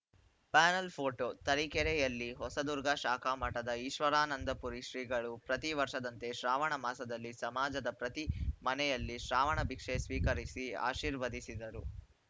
panel photo ತರೀಕೆರೆಯಲ್ಲಿ ಹೊಸದುರ್ಗ ಶಾಖಾ ಮಠದ ಈಶ್ವರಾನಂದಪುರಿ ಶ್ರೀಗಳು ಪ್ರತಿ ವರ್ಷದಂತೆ ಶ್ರಾವಣ ಮಾಸದಲ್ಲಿ ಸಮಾಜದ ಪ್ರತಿ ಮನೆಯಲ್ಲಿ ಶ್ರಾವಣ ಭಿಕ್ಷೆ ಸ್ವೀಕರಿಸಿ ಆಶೀರ್ವದಿಸಿದರು